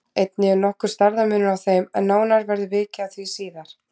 Einnig er nokkur stærðarmunur á þeim en nánar verður vikið að því síðar.